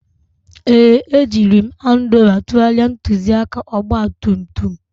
Ee, ejiri m Handuba tụgharịa ntụzịaka ọgba tum tum